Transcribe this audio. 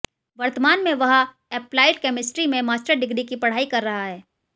वर्तमान में वह एप्लाइड कैमिस्ट्री में मास्टर डिग्री की पढ़ाई कर रहा है